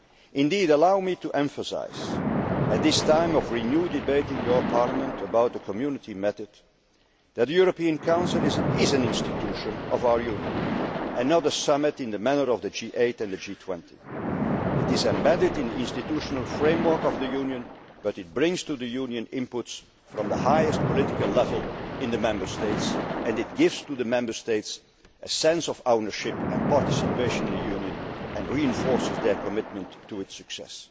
Indeed, allow me to emphasise, at this time of renewed debate in your Parliament about the Community method, that the European Council is an institution of our Union, not another summit in the manner of the G8 and the G20. It is embedded in the institutional framework of the Union but it brings to the Union inputs from the highest political level in the Member States and it gives the Member States a sense of ownership and participation in the Union and reinforces their commitment to